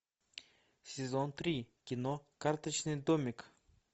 сезон три кино карточный домик